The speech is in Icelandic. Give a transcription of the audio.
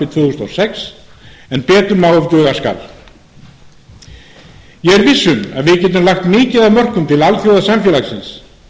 tvö þúsund og sex en betur má ef duga skal ég er viss um að við getum lagt mikið af mörkum til alþjóðasamfélagsins